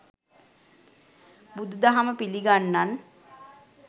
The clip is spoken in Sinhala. බුදු දහම පිළිගන්නන්